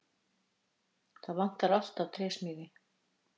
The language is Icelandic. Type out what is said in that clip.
Það vantar alltaf trésmiði!